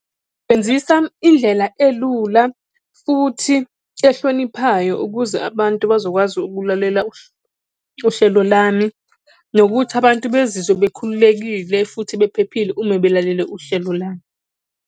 Sebenzisa indlela elula futhi ehloniphayo ukuze abantu bazokwazi ukulalela uhlelo lami, nokuthi abantu bezizwe bekhululekile futhi bephephile uma belalele uhlelo lami.